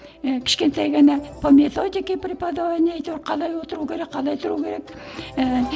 і кішкентай ғана по методики преподование әйтеуір қалай отыру керек қалай тұру керек ііі